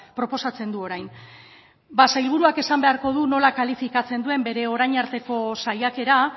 proposatzen du orain ba sailburuak esan beharko du nola kalifikatzen duen bere orain arteko saiakera